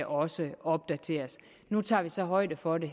også opdateres nu tager vi så højde for det